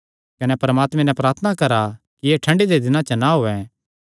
कने परमात्मे नैं प्रार्थना करा कि एह़ ठंडी दे दिनां च ना होयैं